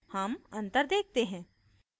हम अंतर देखते हैं